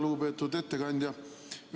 Lugupeetud ettekandja!